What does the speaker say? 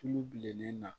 Tulu bilennen na